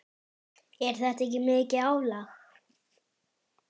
Er þetta ekki mikið álag?